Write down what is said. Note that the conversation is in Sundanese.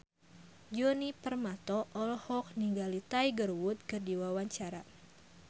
Djoni Permato olohok ningali Tiger Wood keur diwawancara